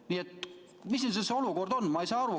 Nii et ma ei saa aru, mis see olukord siis on.